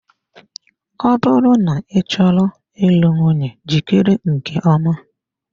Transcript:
Ọ bụrụ na ị chọrọ ịlụ nwunye jikere nke ọma.